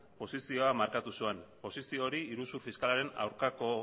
posizioa markatu zuen posizio hori iruzur fiskalaren aurkako